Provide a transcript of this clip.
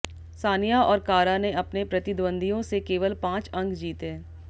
सानिया और कारा ने अपने प्रतिद्वंद्वियों से केवल पांच अंक जीते